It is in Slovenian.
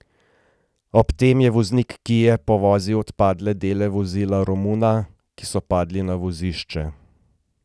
Ob tem je voznik kie povozil odpadle dele vozila Romuna, ki so padli na vozišču.